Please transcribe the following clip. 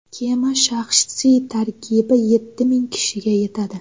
Kema shaxsiy tarkibi yetti ming kishiga yetadi.